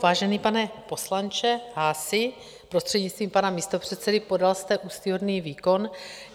Vážený pane poslanče Haasi, prostřednictvím pana místopředsedy, podal jste úctyhodný výkon.